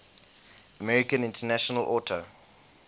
american international auto